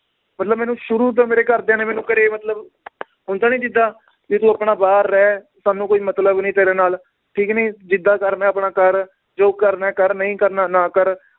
ਮਤਲਬ ਮੈਨੂੰ ਸ਼ੁਰੂ ਤੋਂ ਮੇਰੇ ਘਰਦਿਆਂ ਨੇ ਮੈਨੂੰ ਘਰੇ ਮਤਲਬ ਹੁੰਦਾ ਨੀ ਜਿੱਦਾਂ ਵੀ ਤੂੰ ਆਪਣਾ ਬਾਹਰ ਰਹਿ ਸਾਨੂੰ ਕੋਈ ਮਤਲਬ ਨੀ ਤੇਰੇ ਨਾਲ ਠੀਕ ਨੀ ਜਿੱਦਾਂ ਕਰਨਾ ਏ ਆਪਣਾ ਕਰ ਜੋ ਕਰਨਾ ਏ ਕਰ ਨਈ ਕਰਨਾ ਨਾ ਕਰ